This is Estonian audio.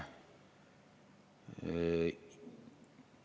Edasi.